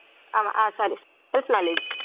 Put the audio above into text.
ஆமா ah sorry self knowledge